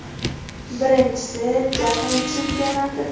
Birinchisi Jahon Chempionati.